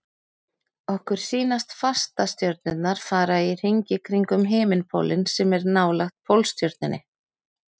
Okkur sýnast fastastjörnurnar fara í hringi kringum himinpólinn sem er nálægt Pólstjörnunni.